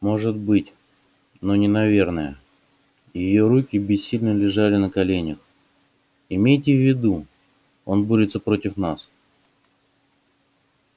может быть но не наверное её руки бессильно лежали на коленях имейте в виду он борется против нас